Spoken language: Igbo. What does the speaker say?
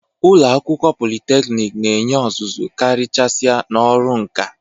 Ụlọ akwụkwọ politeknik na-enye ọzụzụ karịchasịa n'ọrụ nka.